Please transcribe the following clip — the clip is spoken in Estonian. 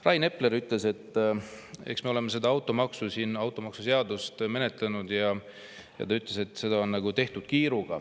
Rain Epler ütles, et eks me oleme seda automaksuseadust siin menetlenud ja seda on nagu kiiruga tehtud.